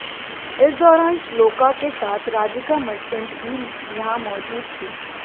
इस दौरान श्लोका के साथ राधिका मर्चेंट भी यहां मौजूद थीं